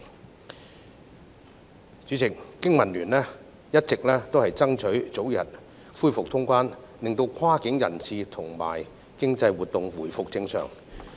代理主席，經民聯一直爭取早日恢復通關，令跨境人流及經濟活動回復正常。